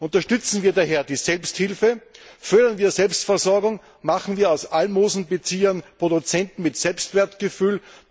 Unterstützen wir daher die Selbsthilfe, fördern wir Selbstversorgung, machen wir aus Almosenbeziehern Produzenten mit Selbstwertgefühl!